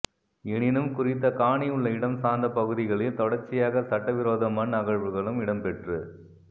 எனினும் குறித்த காணி உள்ள இடம் சார்ந்த பகுதிக ளில் தொடர்ச்சியாக சட்ட விரோத மண் அகழ்வுகளும் இடம்பெற்று